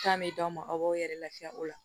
Kan bɛ d'aw ma aw b'aw yɛrɛ lafiya o la